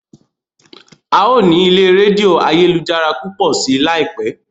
a yóò ní ilè Rédíò ayélujára púpọ sí láìpé